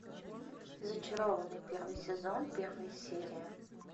зачарованные первый сезон первая серия